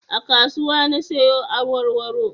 A kasuwa na siyo awarwaro